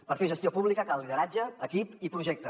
per fer gestió pública cal lideratge equip i projecte